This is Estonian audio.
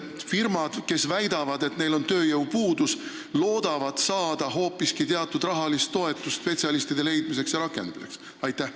Äkki firmad, kes väidavad, et neil on tööjõupuudus, loodavad saada hoopiski teatud rahalist toetust spetsialistide leidmiseks ja rakendamiseks?